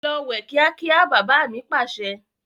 Lọ wẹ̀ kíákíá! "bàbà mi Pàṣẹ".